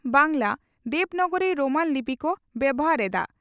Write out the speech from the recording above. Bangla, Devanagari Roman ᱞᱤᱯᱤ ᱠᱚ ᱵᱮᱵᱷᱟᱨ ᱮᱫᱼᱟ ᱾